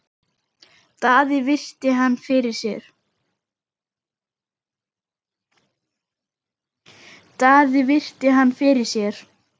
Daði virti hann fyrir sér.